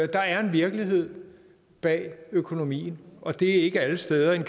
der er en virkelighed bag økonomien og det er ikke alle steder en